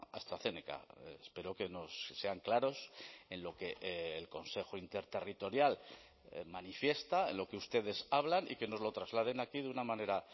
astrazeneca espero que nos sean claros en lo que el consejo interterritorial manifiesta en lo que ustedes hablan y que nos lo trasladen aquí de una manera